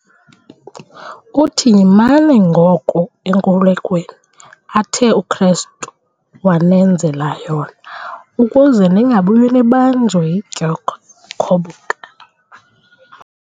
uthi, "Yimani ngoko enkululweni athe uKristu wanenzela yona ukuze ningabuyi nibanjwe yidyokhwe khoboka."